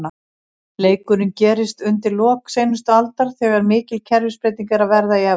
Leikurinn gerist undir lok seinustu aldar, þegar mikil kerfisbreyting er að verða í Evrópu.